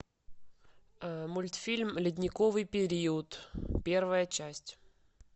мультфильм ледниковый период первая часть